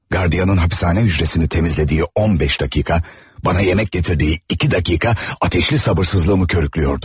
Qardiyanın hapishane hücrəsini təmizlədiyi 15 dəqiqə, bana yemek getirdiyi 2 dəqiqə, ateşli sabırsızlığımı körüklüyordu.